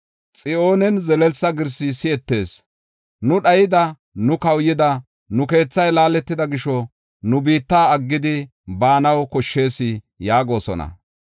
Xiyoonen zelelsa girsi si7etees; ‘Nu dhayida! Nu kawuyida! Nu keethay laaletida gisho, nu biitta aggidi baanaw koshshees’ ” yaagosona.